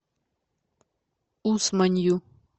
усманью